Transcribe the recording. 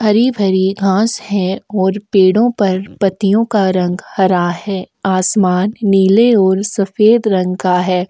हरी भरी घास है और पेड़ो पर पत्तियों का रंग हरा है आसमान नीले और सफ़ेद रंग का है।